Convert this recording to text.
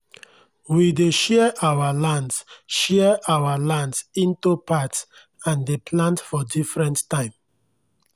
we dey share our lands share our lands into parts and dey plant for different time